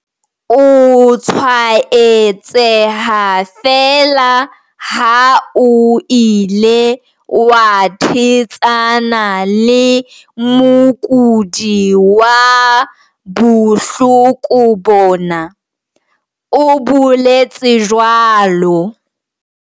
O tshwaetseha feela ha o ile wa thetsana le mokudi wa bohloko bona, o boletse jwalo.